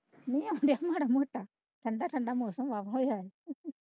ਮੀਂਹ ਆਉਣ ਦਿਆ ਮਾੜਾ ਮੋਟਾ ਠੰਡਾ ਠੰਡਾ ਮੌਸਮ ਹੋਇਆ।